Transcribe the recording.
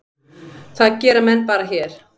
Það gera menn bara hér.